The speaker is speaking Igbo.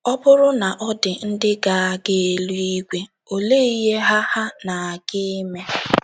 Ọ bụrụ na ọ dị ndị ga - aga eluigwe, olee ihe ha ha na - aga ime?